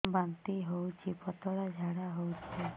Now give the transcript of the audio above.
ବାନ୍ତି ହଉଚି ପତଳା ଝାଡା ହଉଚି